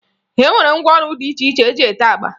E nwere ngwaọrụ dị iche iche eji ete agba